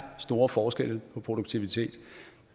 store forskelle på produktiviteten